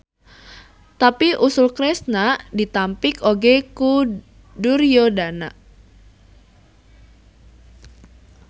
Tapi usul Kresna ditampik oge ku Duryodana.